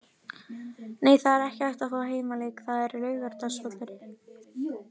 Nei, það er ekki hægt að fá heimaleik, það er Laugardalsvöllurinn.